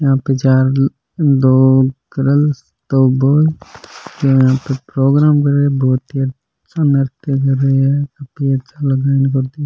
यहाँ पे चार दो गर्ल्स दो बॉयज यहाँ पे प्रोग्राम --